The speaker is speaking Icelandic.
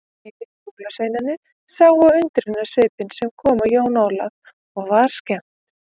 Hinir jólasveinarnir sáu undrunarsvipinn sem kom á Jón Ólaf og var skemmt.